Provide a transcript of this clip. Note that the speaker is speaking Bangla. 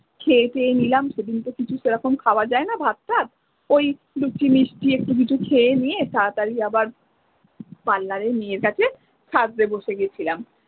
খেয়ে টেয়ে নিলাম সেদিন তো সেরকম কিছু খাওয়া যায় না ভাতটা ওই লুচি মিষ্টি একটু কিছু খেয়ে নিয়ে তাড়াতাড়ি আবার পার্লারের মেয়ের কাছে সাজতে বসে গেছিলাম।